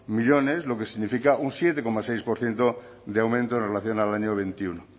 millónes lo que significa un siete coma seis por ciento de aumento en relación al año veintiuno